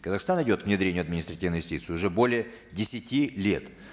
казахстан идет к внедрению административной юстиции уже более десяти лет